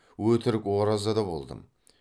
өтірік ораза да болдым